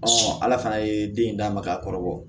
ala fana ye den in d'a ma k'a kɔrɔ bɔ